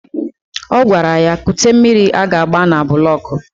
Ọ gwara ya kute mmiri a ga-agba na bụlọk